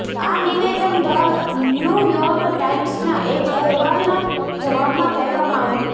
આ નિવેદન the New York ટાઇમ્સના એક અહેવાલનાં જવાબમાં કહેવામાં આવ્યું